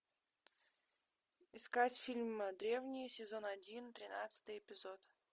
искать фильм древние сезон один тринадцатый эпизод